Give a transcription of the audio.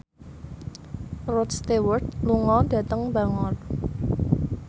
Rod Stewart lunga dhateng Bangor